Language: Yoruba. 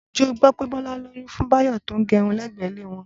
Ǹjẹ́ o gbọ́ pé Bọ́lá lóyún fún Báyọ̀ tó ń gérun lẹ́gbẹ̀ẹ́ ilé wọn?